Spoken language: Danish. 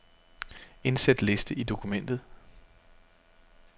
Indsæt liste i dokumentet.